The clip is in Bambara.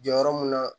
Jɔyɔrɔ mun na